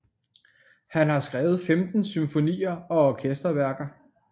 Han har skrevet 15 symfonier og orkesterværker